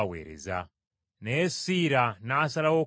Naye Siira n’asalawo okusigalayo.